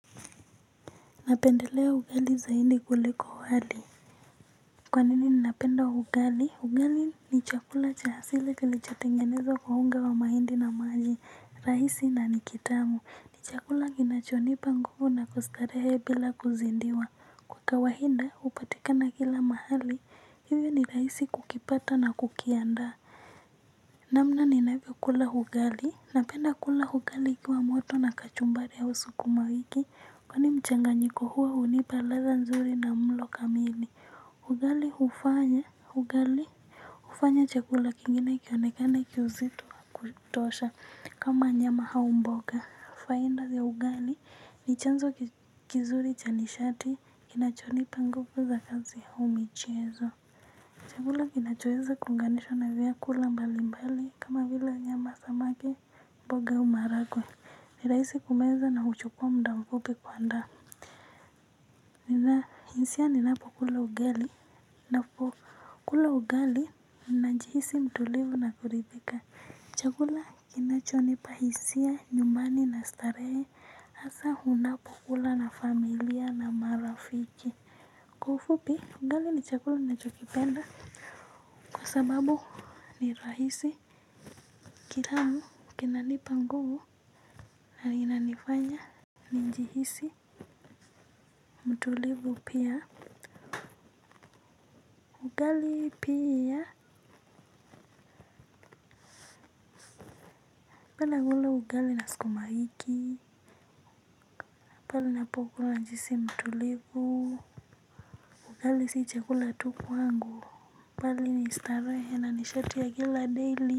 Napendelea ugali zaidi kuliko wali. Kwa nini ninapenda ugali ugali ni chakula cha hasile kilichotengenezwa kwa unga wa mahindi na maji rahisi na nikitamu ni chakula kinachonipa nguvu na kustarehe bila kuzidiwa. Kwa kawaida hupatikana kila mahali hivyo ni rahisi kukipata na kukiandaa. Namna ninavyo kula ugali, napenda kula ugali ikiwa moto na kachumbari au sukumawiki. Kwani mchanganyiko huo unipa ladha nzuri na mlo kamili. Ugali hufanya, ugali hufanya chakula kingine kionekane kiusitu kutosha. Kama nyama au mboga, faida ya ugali ni chanzo kizuri cha nishati. Inachonipa nguvu za kazi au michiezo. Chakula kinachoweza kuunganishwa na vyakula mbalimbali kama vila nyama samaki mboga au maharagwe ni rahisi kumeza na huchukuwa muda mfupi kuandaa. Nina hisia ninapokula ugali napo kula ugali najihisi mtulivu na kuridhika. Chakula kinachonipa hisia nyumbani na starehe hasa hunapo kula na familia na marafiki. Kwa ufupi ugali ni chakula nachokipenda kwa sababu nirahisi kitamu kinanipa nguvu na linanifanya nijihisi mtulivu pia ugali pia naoenda kula ugali na sukumawiki hapo kula najihisi mtu livu ugali si chakula tu kwangu bali ni starehe na nishati ya kila daily.